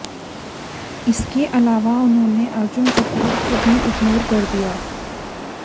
इसके अलावा उन्होन अर्जुन कपूर को भी इग्नोर कर दिया है